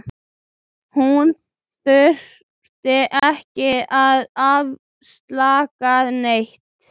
Hún þurfti ekki að afsaka neitt.